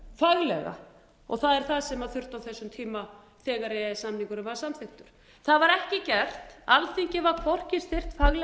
það er það sem þurfti á þessum tíma þegar e e s samningurinn var samþykktur það var ekki gert alþingi var hvorki styrkt faglega